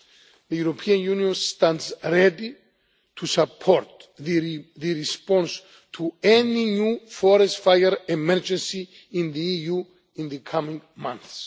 The European Union stands ready to support the response to any new forest fire emergency in the EU in the coming months.